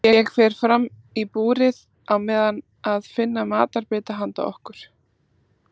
Ég fer fram í búrið á meðan að finna matarbita handa okkur.